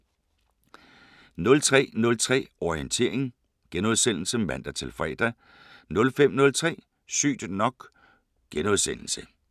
03:03: Orientering *(man-fre) 05:03: Sygt nok *